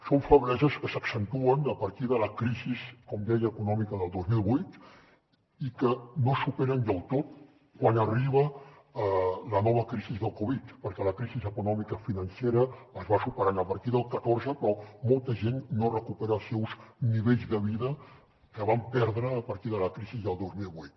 són febleses que s’accentuen a partir de la crisi com deia econòmica del dos mil vuit i que no es superen del tot quan arriba la nova crisi del covid perquè la crisi econòmica financera es va superant a partir del catorze però molta gent no recupera els seus nivells de vida que van perdre a partir de la crisi del dos mil vuit